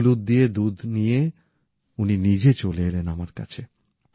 হলুদ দিয়ে দুধ নিয়ে উনি নিজে চলে এলেন আমার কাছে